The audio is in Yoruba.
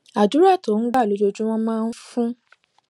àdúrà tó ń gbà lójoojúmó máa ń fún